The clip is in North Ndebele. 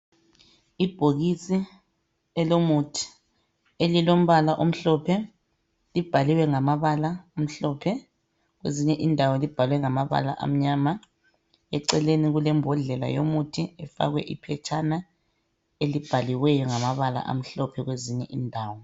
Ibhokisi elomuthi, elilombala omhlophe libhaliwe ngamabala amhlophe kwezinye indawo libhalwe ngamabala amnyama. Eceleni kulembhodlela yomuthi efakwe iphetshana elibhaliweyo ngamabala amhlophe kwezinye indawo